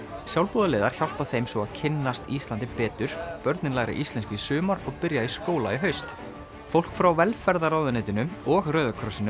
sjálfboðaliðar hjálpa þeim svo að kynnast Íslandi betur börnin læra íslensku í sumar og byrja í skóla í haust fólk frá velferðarráðuneytinu og Rauða krossinum